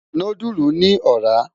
Núdùlú ni òrà